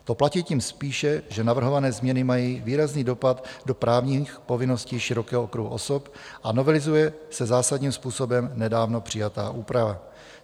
To platí tím spíše, že navrhované změny mají výrazný dopad do právních povinností širokého okruhu osob a novelizuje se zásadním způsobem nedávno přijatá úprava.